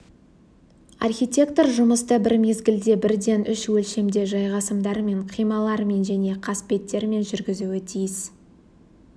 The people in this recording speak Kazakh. архитектор жұмысты бір мезгілде бірден үш өлшемде жайғасымдармен қималармен және қасбеттермен жүргізуі тиіс